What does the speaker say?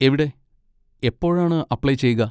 എവിടെ, എപ്പോഴാണ് അപ്ലൈ ചെയ്യുക?